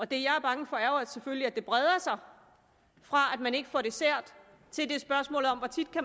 det jeg er bange for er jo selvfølgelig at det breder sig fra at man ikke får dessert til